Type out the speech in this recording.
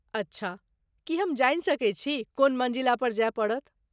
अच्छा, की हम जानि सकैत छी कोन मन्जिला पर जाय पड़त?